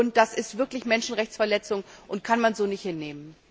Das ist wirklich eine Menschenrechtsverletzung, das kann man so nicht hinnehmen!